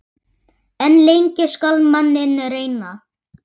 En lengi skal manninn reyna.